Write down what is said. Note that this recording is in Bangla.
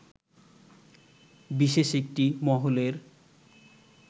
বিশেষ একটি মহলের